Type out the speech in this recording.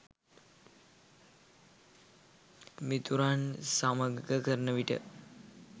මිතුරන් සමග කරන විට